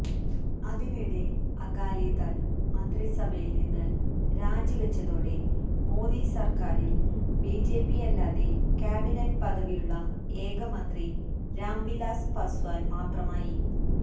അതിനിടെ അകാലിദള് മന്ത്രിസഭയില്നിന്ന് രാജിവെച്ചതോടെ മോദി സര്ക്കാരില് ബിജെപിയല്ലാതെ ക്യാബിനറ്റ് പദവിയുള്ള ഏകമന്ത്രി രാം വിലാസ് പസ്വാന് മാത്രമായി